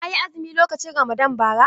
Ka yi azumi lokacin Ramadan bara?